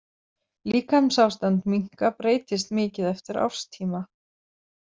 Líkamsástand minka breytist mikið eftir árstíma.